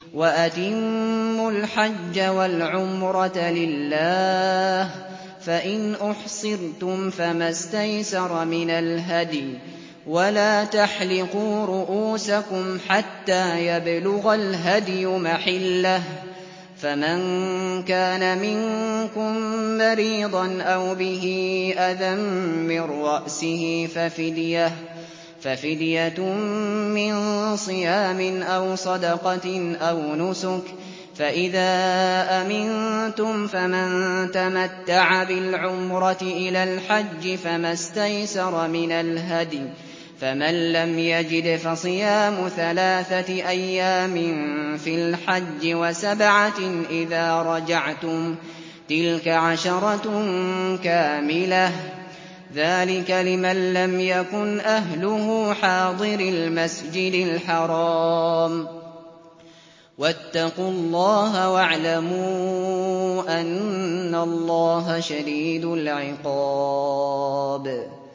وَأَتِمُّوا الْحَجَّ وَالْعُمْرَةَ لِلَّهِ ۚ فَإِنْ أُحْصِرْتُمْ فَمَا اسْتَيْسَرَ مِنَ الْهَدْيِ ۖ وَلَا تَحْلِقُوا رُءُوسَكُمْ حَتَّىٰ يَبْلُغَ الْهَدْيُ مَحِلَّهُ ۚ فَمَن كَانَ مِنكُم مَّرِيضًا أَوْ بِهِ أَذًى مِّن رَّأْسِهِ فَفِدْيَةٌ مِّن صِيَامٍ أَوْ صَدَقَةٍ أَوْ نُسُكٍ ۚ فَإِذَا أَمِنتُمْ فَمَن تَمَتَّعَ بِالْعُمْرَةِ إِلَى الْحَجِّ فَمَا اسْتَيْسَرَ مِنَ الْهَدْيِ ۚ فَمَن لَّمْ يَجِدْ فَصِيَامُ ثَلَاثَةِ أَيَّامٍ فِي الْحَجِّ وَسَبْعَةٍ إِذَا رَجَعْتُمْ ۗ تِلْكَ عَشَرَةٌ كَامِلَةٌ ۗ ذَٰلِكَ لِمَن لَّمْ يَكُنْ أَهْلُهُ حَاضِرِي الْمَسْجِدِ الْحَرَامِ ۚ وَاتَّقُوا اللَّهَ وَاعْلَمُوا أَنَّ اللَّهَ شَدِيدُ الْعِقَابِ